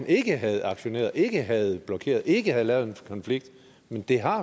ikke havde aktioneret ikke havde blokeret ikke havde lavet en konflikt men det har